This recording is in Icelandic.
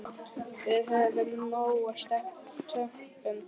Við höfum nóg af teppum.